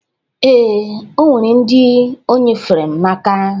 Ee, o nwere ndị o nyefere m n'aka